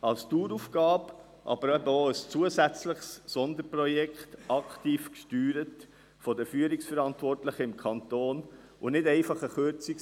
Es ist eine Daueraufgabe, aber eben auch ein zusätzliches Sonderprojekt, aktiv gesteuert von den Führungsverantwortlichen im Kanton, und nicht einfach eine Delegation der Kürzung nach unten.